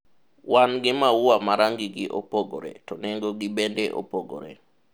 wan gi maua ma rangi gi opogore to nengo gi bende opogore